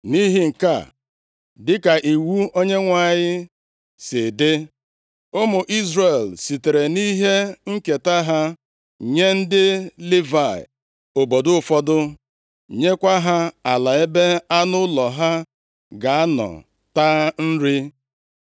Nʼihi nke a, dịka iwu Onyenwe anyị si dị, ụmụ Izrel sitere nʼihe nketa ha nye ndị Livayị obodo ụfọdụ, nyekwa ha ala ebe anụ ụlọ ha ga-anọ taa nri.